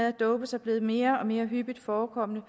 at dope sig blevet mere og mere hyppigt forekommende